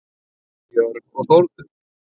Björg og Þórður.